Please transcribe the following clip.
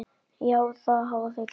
Já, það hafa þau gert.